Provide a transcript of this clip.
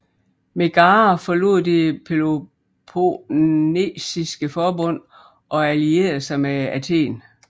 Megara forlod det Peloponnesiske Forbund og allierede sig med Athen